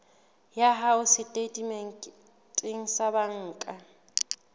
ya hao setatementeng sa banka